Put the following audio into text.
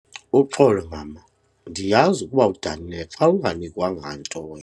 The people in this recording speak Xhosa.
Uxolo mama, ndiyazi ukuba udanile xa unganikwanga nto wena.